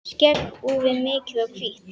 Skegg úfið, mikið og hvítt.